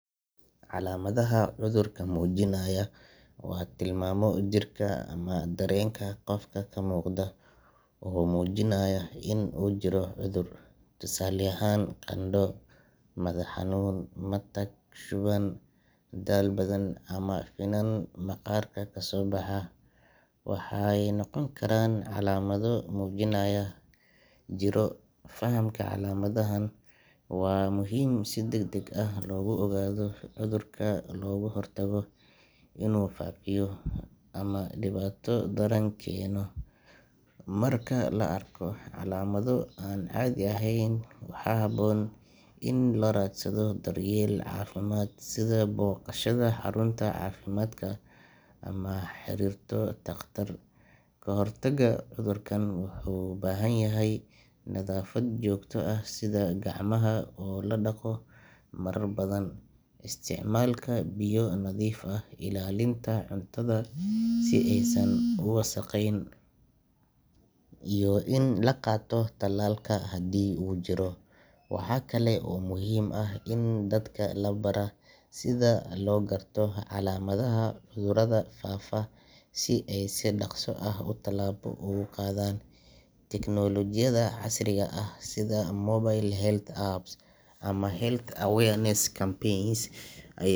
Calamadaha cudurka muujinaya waa tilmaamo jirka ama dareenka qofka ka muuqda oo muujinaya in uu jiro cudur. Tusaale ahaan, qandho, madax xanuun, matag, shuban, daal badan ama finan maqaarka ka soo baxa waxay noqon karaan calaamado muujinaya jirro. Fahamka calaamadahan waa muhiim si degdeg loogu ogaado cudurka loogana hortago inuu faafiyo ama dhibaato daran keeno. Marka la arko calaamado aan caadi ahayn, waxaa habboon in la raadsado daryeel caafimaad sida booqashada xarunta caafimaadka ama la xiriirto takhtar. Kahortagga cudurka wuxuu u baahan yahay nadaafad joogto ah sida gacmaha oo la dhaqo marar badan, isticmaalka biyo nadiif ah, ilaalinta cuntada si aysan u wasakheyn, iyo in la qaato tallaalka haddii uu jiro. Waxa kale oo muhiim ah in dadka la baraa sida loo garto calaamadaha cudurada faafa si ay si dhaqso ah u tallaabo uga qaadaan. Teknolojiyada casriga ah sida mobile health apps ama health awareness campaigns ay.